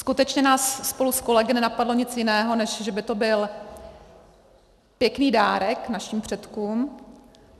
Skutečně nás spolu s kolegy nenapadlo nic jiného, než že by to byl pěkný dárek našim předkům.